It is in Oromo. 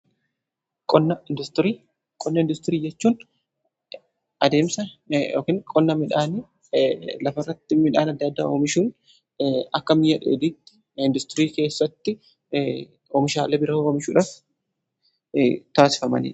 Qonna industirii jechuun adeemsa yookiin qonna midhaanii lafa irratti midhaan adda addaa oomishuun akka mi'a dheedhiitti industirii keessatti oomishaale bira oomishuudhaaf kan taasifamanidha.